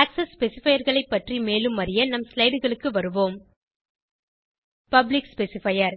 access specifierகளை பற்றி மேலும் அறிய நம் slideகளுக்கு வருவோம் பப்ளிக் ஸ்பெசிஃபையர்